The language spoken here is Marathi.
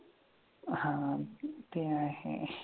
हा ते आहे.